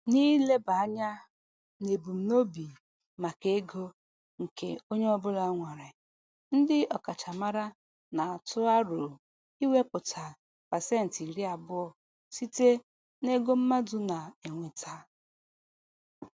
N'ileba anya n'ebumnobi maka ego nke onye ọbụla nwere, ndị ọkachamara na-atụ aro iwepụta pasentị iri abụọ site n'ego mmadụ na-enweta.